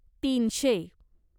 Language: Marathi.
तीनशे